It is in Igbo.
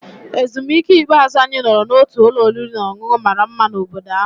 Ezumike ikpeazụ, anyị nọrọ n'otu ụlọ oriri na ọṅụṅụ mara mma na obodo ahụ.